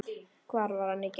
Hvar var hann í gær?